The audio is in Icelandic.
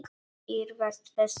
Iðrast þess nú.